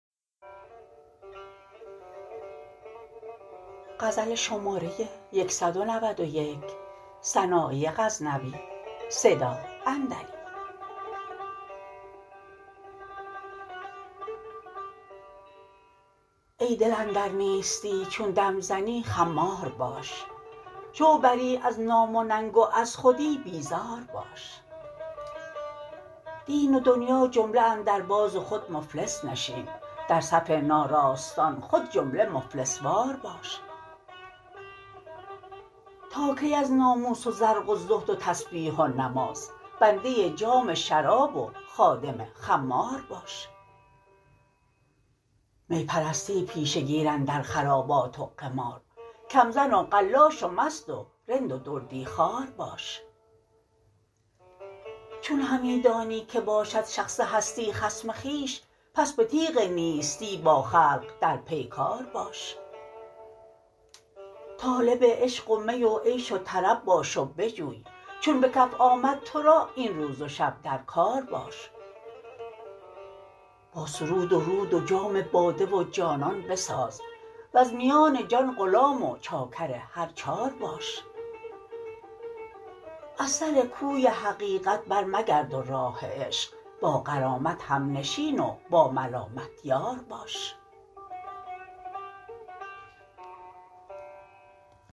ای دل اندر نیستی چون دم زنی خمار باش شو بری از نام و ننگ و از خودی بیزار باش دین و دنیا جمله اندر باز و خود مفلس نشین در صف ناراستان خود جمله مفلس وار باش تا کی از ناموس و زرق و زهد و تسبیح و نماز بنده جام شراب و خادم خمار باش می پرستی پیشه گیر اندر خرابات و قمار کمزن و قلاش و مست و رند و دردی خوار باش چون همی دانی که باشد شخص هستی خصم خویش پس به تیغ نیستی با خلق در پیکار باش طالب عشق و می و عیش و طرب باش و بجوی چون به کف آمد ترا این روز و شب در کار باش با سرود و رود و جام باده و جانان بساز وز میان جان غلام و چاکر هر چار باش از سر کوی حقیقت بر مگرد و راه عشق با غرامت همنشین و با ملامت یار باش